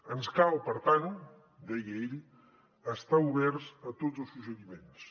ens cal per tant deia ell estar oberts a tots els suggeriments